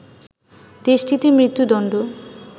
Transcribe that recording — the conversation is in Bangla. দেশটিতে মৃত্যুদণ্ড